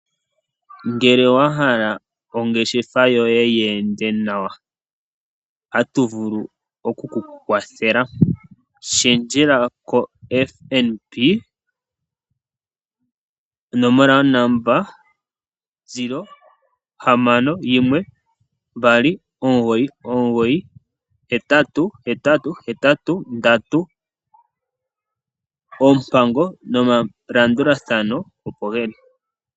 Ngele wa hala ongeshefa yoye, yi ende nawa, otatu vulu okukukwathela, shendjela koFNB, onomola yongodhi : 0612998883, oompango nomalandulathano opo geli.